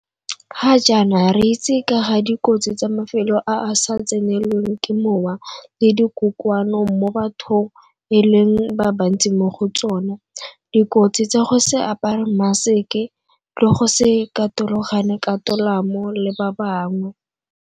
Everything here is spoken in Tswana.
Ga jaana re itse ka ga dikotsi tsa mafelo a a sa tsenelweng ke mowa le dikokoano mo batho e leng ba bantsi mo go tsona, dikotsi tsa go se apare mmaseke le go se katologane ka tolamo le ba bangwe.